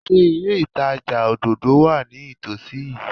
Ṣé ilé ìtajà òdòdó wà ní ìtòsí yìí?